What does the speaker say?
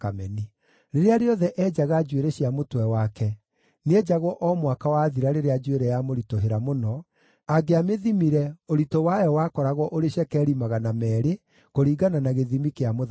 Rĩrĩa rĩothe eenjaga njuĩrĩ cia mũtwe wake, nĩenjagwo o mwaka wathira rĩrĩa njuĩrĩ yamũritũhĩra mũno, angĩamĩthimire, ũritũ wayo wakoragwo ũrĩ cekeri magana meerĩ, kũringana na gĩthimi kĩa mũthamaki.